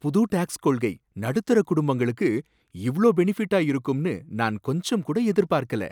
புது டேக்ஸ் கொள்கை நடுத்தர குடும்பங்களுக்கு இவ்ளோ பெனிஃபிட்டா இருக்கும்னு நான் கொஞ்சம்கூட எதிர்பார்க்கல.